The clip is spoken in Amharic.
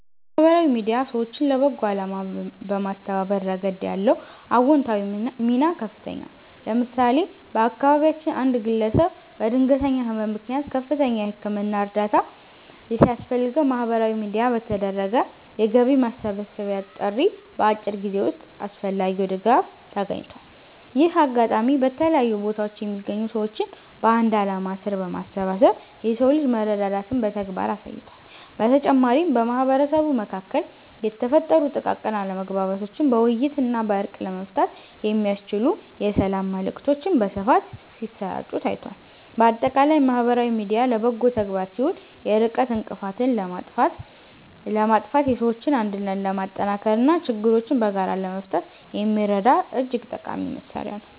ማህበራዊ ሚዲያ ሰዎችን ለበጎ አላማ በማስተባበር ረገድ ያለው አዎንታዊ ሚና ከፍተኛ ነው። ለምሳሌ፣ በአካባቢያችን አንድ ግለሰብ በድንገተኛ ህመም ምክንያት ከፍተኛ የህክምና እርዳታ ሲያስፈልገው፣ በማህበራዊ ሚዲያ በተደረገ የገቢ ማሰባሰቢያ ጥሪ በአጭር ጊዜ ውስጥ አስፈላጊው ድጋፍ ተገኝቷል። ይህ አጋጣሚ በተለያዩ ቦታዎች የሚገኙ ሰዎችን በአንድ ዓላማ ስር በማሰባሰብ የሰው ልጅ መረዳዳትን በተግባር አሳይቷል። በተጨማሪም፣ በማህበረሰቡ መካከል የተፈጠሩ ጥቃቅን አለመግባባቶችን በውይይትና በእርቅ ለመፍታት የሚያስችሉ የሰላም መልዕክቶች በስፋት ሲሰራጩ ታይቷል። ባጠቃላይ ማህበራዊ ሚዲያ ለበጎ ተግባር ሲውል የርቀት እንቅፋትን በማጥፋት የሰዎችን አንድነት ለማጠናከርና ችግሮችን በጋራ ለመፍታት የሚረዳ እጅግ ጠቃሚ መሣሪያ ነው።